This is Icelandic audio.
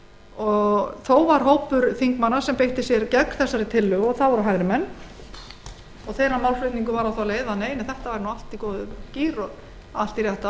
þingi norðurlandaráðs þó var hópur þingmanna sem beitti sér gegn þessari tillögu en það voru hægri menn málflutningur þeirra var á þá leið að þetta væri nú allt í góðum gír og færi allt í rétta